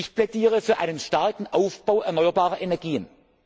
Ich plädiere für einen starken Ausbau erneuerbarer Energien.